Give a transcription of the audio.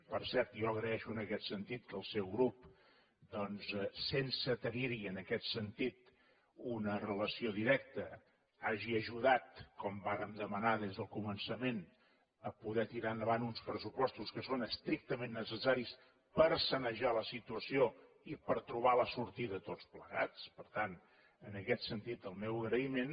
per cert jo agraeixo en aquest sentit que el seu grup doncs sense tenir hi en aquest sentit una relació directa hagi ajudat com vàrem demanar des del començament a poder tirar endavant uns pressupostos que són estrictament necessaris per sanejar la situació i per trobar la sortida tots plegats per tant en aquest sentit el meu agraïment